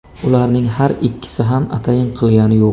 Ularning har ikkisi ham atayin qilgani yo‘q.